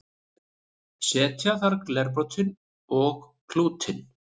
setja þarf glerbrotin og klútinn